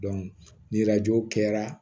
ni kɛra